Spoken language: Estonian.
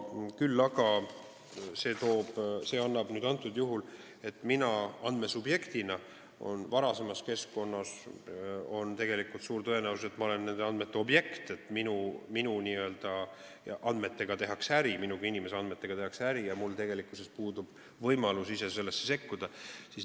Küll aga on varasemas keskkonnas olnud tegelikult suur tõenäosus, et kuigi ma olen olnud nende andmete objekt ja minu n-ö andmetega on tehtud äri, minu kui inimese andmetega on tehtud äri, on mul tegelikkuses puudunud võimalus sellesse sekkuda.